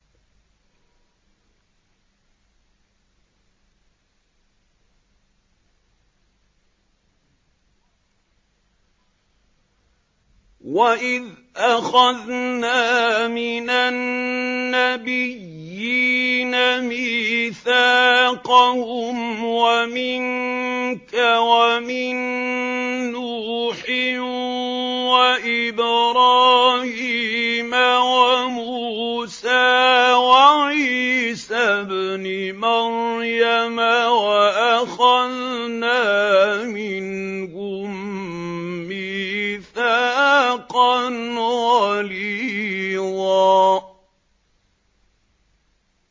وَإِذْ أَخَذْنَا مِنَ النَّبِيِّينَ مِيثَاقَهُمْ وَمِنكَ وَمِن نُّوحٍ وَإِبْرَاهِيمَ وَمُوسَىٰ وَعِيسَى ابْنِ مَرْيَمَ ۖ وَأَخَذْنَا مِنْهُم مِّيثَاقًا غَلِيظًا